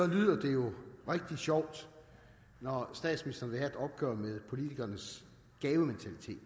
lyder det jo rigtig sjovt når statsministeren vil opgør med politikernes gavementalitet